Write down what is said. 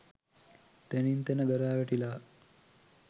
තැනින් තැන ගරා වැටිලා